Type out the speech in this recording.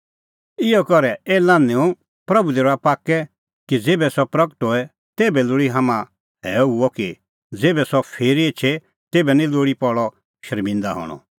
इहअ करै ए लान्हैंओ प्रभू दी रहा पाक्कै कि ज़ेभै सह प्रगट होए तेभै लोल़ी हाम्हां हैअ हुअ कि ज़ेभै सह फिरी एछे तेभै निं लोल़ी पल़अ शर्मिंदअ हणअ